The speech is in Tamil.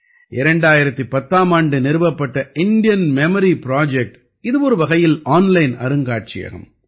2010ஆம் ஆண்டு நிறுவப்பட்ட இந்தியன் மெமரி புரொஜெக்ட் இது ஒருவகையில் ஆன்லைன் அருங்காட்சியகம்